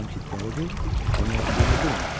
Madam ki dəlidir, o nə etdiyini bilmir.